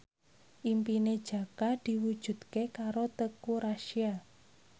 impine Jaka diwujudke karo Teuku Rassya